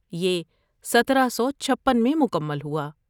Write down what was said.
یہ سترہ سو چھپن میں مکمل ہوا